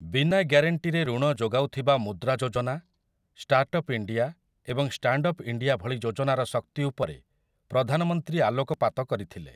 ବିନା ଗ୍ୟାରେଣ୍ଟିରେ ଋଣ ଯୋଗାଉଥିବା ମୁଦ୍ରା ଯୋଜନା, ଷ୍ଟାର୍ଟଅପ୍‌ ଇଣ୍ଡିଆ ଏବଂ ଷ୍ଟାଣ୍ଡଅପ୍ ଇଣ୍ଡିଆ ଭଳି ଯୋଜନାର ଶକ୍ତି ଉପରେ ପ୍ରଧାନମନ୍ତ୍ରୀ ଆଲୋକପାତ କରିଥିଲେ ।